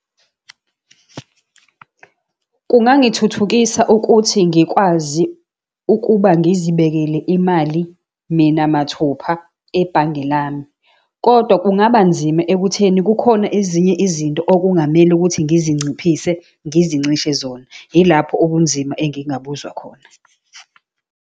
Kungangithuthukisa ukuthi ngikwazi ukuba ngizibekele imali mina mathupha ebhange lami. Kodwa kungaba nzima ekutheni kukhona ezinye izinto okungamele ukuthi ngizinciphise, ngizincishe zona. Yilapho ubunzima engingabuzwa khona.